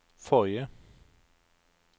forrige